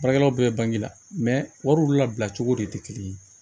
Baarakɛlaw bɛɛ bange la wariw labila cogo de tɛ kelen ye